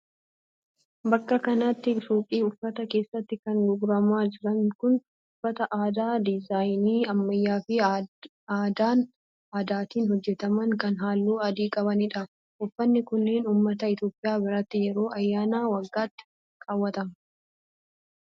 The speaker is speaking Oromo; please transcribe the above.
Bakka kanatti suuqii uffataa keessatti kan gurguramaa jiran kun, uffata aadaa diizaayinii ammayyaa fi adaatin hojjataman kan haalluu adii qabanii dha. Uffanni kunneen ,ummata Itoophiyaa biratti yeroo ayyaana waggaat kaawwatamu.